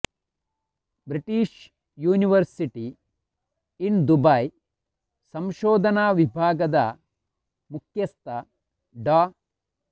British university in Dubai ಸಂಶೋಧನಾ ವಿಭಾಗದ ಮುಖ್ಯಸ್ಥ ಡಾ